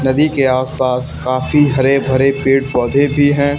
नदी के आसपास काफी हरे भरे पेड़ पौधे भी है।